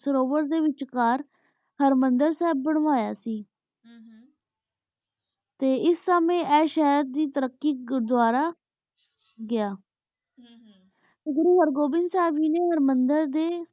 ਸਰੁਵੇਰ ਡੀ ਵੇਚ ਕਰ ਹਰਮੰਦਰ ਸਬ ਬਨਵਾਯਾ ਸੇ ਟੀ ਇਸ ਸਮੁੰ ਆਯ ਸ਼ਾਹੇਰ ਦੇ ਤੈਰਾਕੀ ਘੁਰ ਵਾਰ ਬਣ ਗਯਾ ਹਮਮ ਘੁਰੁ ਘੁਰ੍ਵਾੰਦਰ ਸਬ ਜੀ ਨੀ